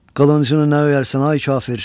Qılıncını nə öyərsən, ay kafir?